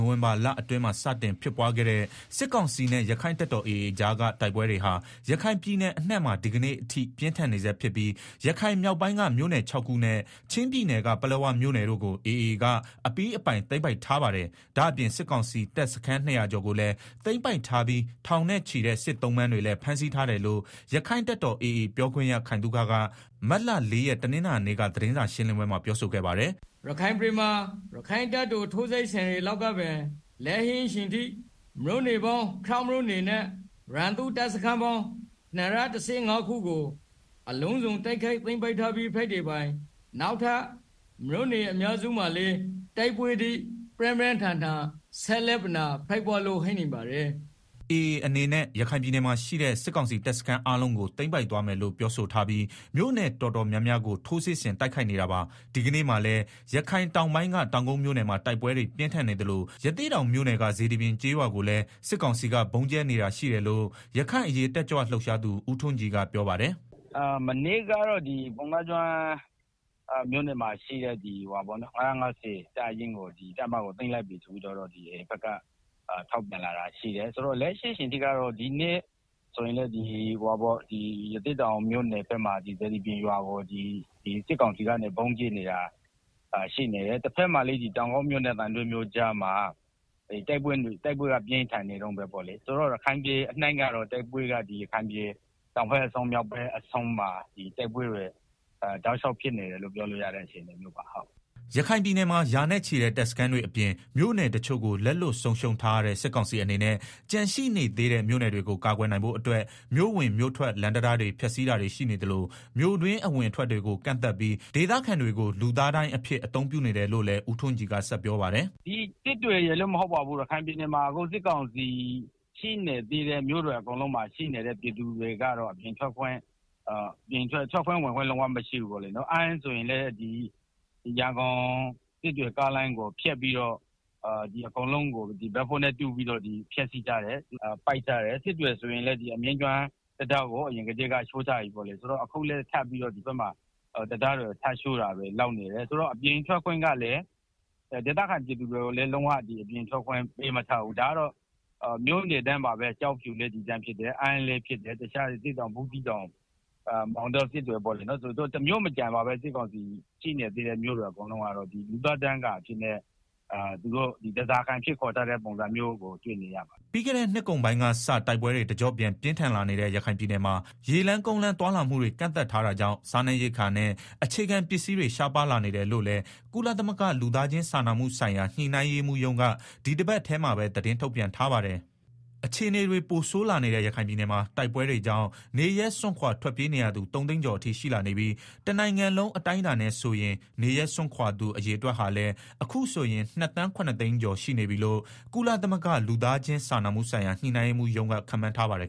ိုဝင်ဘာလအတွင်းမှာ စတင်ခဲ့တဲ့ စစ်ကောင်စီနဲ့ ရက္ခိုင့်တပ်တော် AA ကြားက တိုက်ပွဲတွေဟာ ရခိုင်ပြည်နယ်အနှံ့မှာ ဒီကနေ့အထိ ပြင်းထန်နေဆဲဖြစ်ပြီး ရခိုင်မြောက်ပိုင်းက မြို့နယ် ၆ခုနဲ့ ချင်းပြည်နယ်က ပလက်ဝမြို့နယ်တို့ကို AA က အပြီးအပိုင် သိမ်းပိုက်ထားပါတယ်။ ဒါ့အပြင် စစ်ကောင်စီတပ်စခန်း ၂ဝဝကျော်ကိုလည်း သိမ်းပိုက်ထားပြီး ထောင်နဲ့ချီတဲ့ စစ်သုံ့ပန်းတွေလည်း ဖမ်းဆီးထားတယ်လို့ ရက္ခိုင့်တပ်တော် AA ပြောခွင့်ရ ခိုင်သုခ က မတ်လ ၄ ရက်၊ တနင်္လာနေ့က စာရှင်းလင်းပွဲမှာ ပြောဆိုခဲ့ပါတယ်။ “ ရခိုင်ပြည်နယ်မှာ ရက္ခိုင့်တပ်တော် ထိုးစစ်ဆင် တိုက်ခိုက်တဲ့နေ့ကစလို့ လက်ရှိအထိ မြို့နယ် ပေါင်း ၆မြို့နယ်နဲ့ ရန်သူ့တပ်စခန်းပေါင်း ၂၁၅ခုကို အလုံးစုံ တိုက်ခိုက်သိမ်းပိုက်ထားပြီး ဖြစ်သလို၊ နောက်ထပ် မြို့နယ် အများစုမှာလည်း တိုက်ပွဲတွေ ပြင်းပြင်းထန်ထန် ဖြစ်နေပါတယ်။” AA အနေနဲ့ ရခိုင်ပြည်နယ်မှာရှိတဲ့ စစ်ကောင်စီတပ်စခန်းအားလုံးကို သိမ်းပိုက် သွားမယ်လို့ပြောဆိုထားပြီး မြို့နယ်တော်တော်များများကို ထိုးစစ်ဆင် တိုက်ခိုက် နေတာပါ။ ဒီကနေ့မှာလည်း ရခိုင်တောင်ပိုင်းက တောင်ကုတ်မြို့နယ်မှာ တိုက်ပွဲတွေ ပြင်းထန်နေသလို ရသေ့တောင်မြို့နယ်က စေတီပြင် ကျေးရွာကိုလည်း စစ်ကောင်စီက ဗုံးကြဲနေတာရှိတယ်လို့ ရခိုင်အရေး တက်ကြွလှုပ်ရှားသူ ဦးထွန်းကြည်က ပြောပါတယ်။ “ မနေ့ကတော့ ပုဏ္ဏားကျွန်းမြို့က ၅၅ဝ တပ်ရင်းကို သိမ်းပိုက်တယ်လို့ AA ဘက်က ထုတ်ပြန်ထားတယ်။ လက်ရှိအချိန်ကတော့ ဒီနေ့ဆိုရင်လည်း ရသေေ့တာင်မြို့နယ် စေတီပြင် ရွာကို စစ်ကောင်စီက ဗုံးကြဲနေတာရှိတယ်။ တဘက်မှာလည်း တောင်ကုတ်မြို့နဲ့ သံတွဲမြို့ကြားမှာ တို်က်ပွဲက ပြင်းထန်နေတုန်းပဲ။ ဆိုတော့ ရခိုင်ပြည်နယ် မြောက်ဘက်အဆုံးနဲ့ တောင်ဘက် အဆုံးမှာ တိုက်ပွဲတွေ တောက်လျောက် ပြင်းထန်နေတယ်လို့ ပြောလို့ရတယ်။” ရခိုင်ပြည်နယ်မှာ ရာနဲ့ချီတဲ့ တပ်စခန်းတွေအပြင် မြို့နယ်တချို့ကို လက်လွတ်ဆုံးရှုံးထားရတဲ့ စစ်ကောင်စီအနေနဲ့ ကျန်ရှိနေသေးတဲ့ မြို့နယ်တွေကို ကာကွယ်နိုင်ဖို့အတွက် မြို့ဝင်မြို့ထွက် လမ်းတံတားတွေကို ဖျက်စီးတာတွေ ရှိနေသလို မြို့တွင်း အဝင်အထွက်တွေကို ကန့်သတ်ပြီး ဒေသခံတွေကို လူသားဒိုင်းအဖြစ် အသုံးပြုနေတယ်လို့လည်း ကိုထွန်းကြည်က ဆက်ပြောပါတယ်။ “ လက်ရှိ ရခိုင်ပြည်နယ်မှာ စစ်ကောင်စီ ရှိနေသေးတဲ့ မြို့နယ်အကုန်လုံးမှာ ထွက်ခွင့်ဝင်ခွင့် လုံးဝမရှိဘူး၊ အမ်းဆိုရင်လည်း ရန်ကုန် စစ်တွေ ကားလမ်းကို အကုန်လုံးကို ဘက်ဖိုးနဲ့တူးပြီးတော့ ဖျက်လိုက်တယ်။ စစ်တွေဆိုရင်လည်း အမြင့်ကျွန်းတံတားကို အရင်ကတည်းက ချိုးပြီ အခုလည်း ထပ်ပြီးတော့ ဒီဘက်မှာ တံတားတွေကို ထပ်ချိုးတာတွေ လုပ်နေတယ်ဆိုတော့ ဒေသခံပြည်သူတွေကိုလည်း အပြင်ထွက်ခွင့် လုံးဝ ပေးမထားဘူး။ ဒါက မြို့နယ်တိုင်းပါပဲ။ ကျောက်ဖြူလည်းဒီအတိုင်းပဲ။ အမ်းလည်းဖြစ်တယ်၊ တခြား ရသေ့တောင်၊ ဘူးသီးတောင်၊ မောင်တော၊ စစ်တွေ ပေါ့လေ၊ မြို့နယ်တိုင်းပါပဲ။ စစ်ကောင်စီရှိတဲ့ မြို့မှာ လူသားဒိုင်းကာအဖြစ် ဓားစာခံအဖြစ်ထားတာကို တွေ့နေရတယ်။” ပြီးခဲ့တဲ့နှစ်ကုန်ပိုင်းကစ တိုက်ပွဲတွေ တကျော့ပြန် ပြင်းထန်လာတဲ့ ရခိုင်ပြည်နယ်မှာ ရေလမ်း၊ ကုန်းလမ်း သွားလာမှုတွေ ကန့်သတ်ထားတာကြောင့် စားနပ်ရိက္ခာနဲ့ အခြေခံပစ္စည်းတွေ ရှားပါးလာနေတယ်လို့လည်း ကုလသမဂ္ဂ လူသားချင်းစာနာမှုဆိုင်ရာ ညှိနှိုင်းရေးမှူးရုံးက ဒီတပတ်ထဲမှာပဲ သတင်းထုတ်ပြန်ထားပါတယ်။ အခြေအနေတွေ ပိုဆိုးလာနေတဲ့ ရခိုင်ပြည်နယ်မှာ တိုက်ပွဲတွေကြောင့် နေရပ်စွန့်ခွာ ထွက်ပြေးနေရသူ ၃သိန်းကျော်အထိ ရှိလာနေပြီး တနိုင်ငံလုံးအတိုင်းအတာနဲ့ဆိုရင် နေရပ်စွန့်ခွာသူ အရေအတွက်ဟာလည်း အခုဆိုရင် ၂ သန်း ၇ သိန်းကျော် ရှိနေပြီလို့ ကုလသမဂ္ဂ လူသားချင်းစာနာမှုဆိုင်ရာ ညှိနှိုင်းရေးမှူးရုံးက ခန့်မှန်းထားပါတယ်